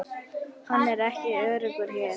Hann er ekki öruggur hér